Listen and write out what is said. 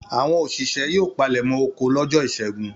Àwọn òṣìṣẹ́ yóò palẹ̀mọ́ oko lọ́jọ́ ìṣẹ́gun.